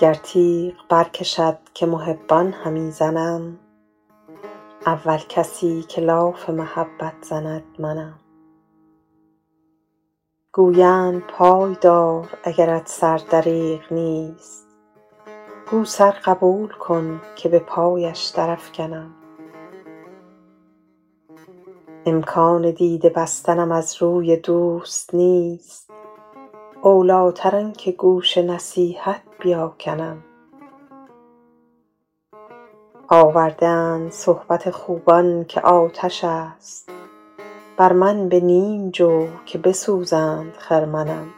گر تیغ برکشد که محبان همی زنم اول کسی که لاف محبت زند منم گویند پای دار اگرت سر دریغ نیست گو سر قبول کن که به پایش درافکنم امکان دیده بستنم از روی دوست نیست اولیتر آن که گوش نصیحت بیاکنم آورده اند صحبت خوبان که آتش است بر من به نیم جو که بسوزند خرمنم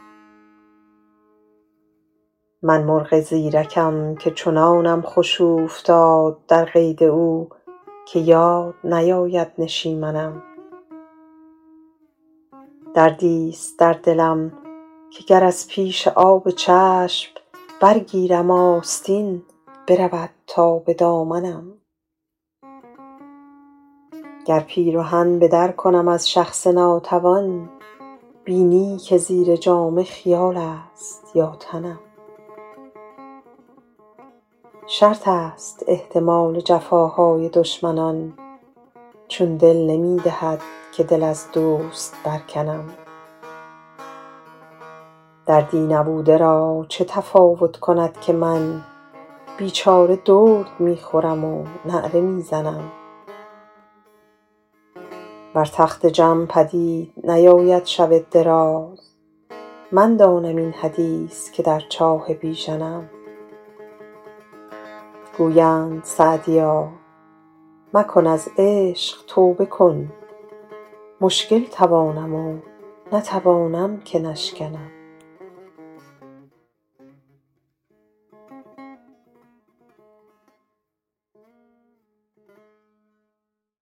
من مرغ زیرکم که چنانم خوش اوفتاد در قید او که یاد نیاید نشیمنم دردیست در دلم که گر از پیش آب چشم برگیرم آستین برود تا به دامنم گر پیرهن به در کنم از شخص ناتوان بینی که زیر جامه خیالیست یا تنم شرط است احتمال جفاهای دشمنان چون دل نمی دهد که دل از دوست برکنم دردی نبوده را چه تفاوت کند که من بیچاره درد می خورم و نعره می زنم بر تخت جم پدید نیاید شب دراز من دانم این حدیث که در چاه بیژنم گویند سعدیا مکن از عشق توبه کن مشکل توانم و نتوانم که نشکنم